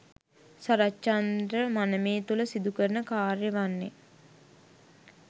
සරත්චන්ද්‍ර මනමේ තුළ සිදු කරන කාර්ය වන්නේ